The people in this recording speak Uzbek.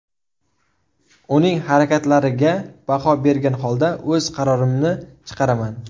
Uning harakatlariga baho bergan holda o‘z qarorimni chiqaraman.